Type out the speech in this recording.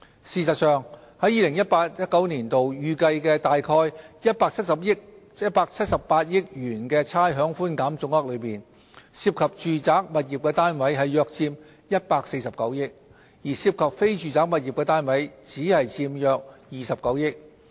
事實上，在 2018-2019 年度預計約178億元的差餉寬減總額中，涉及住宅物業單位的佔約149億元，而涉及非住宅物業單位的只佔約29億元。